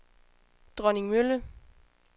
Dronningmølle